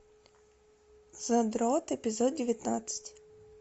задрот эпизод девятнадцать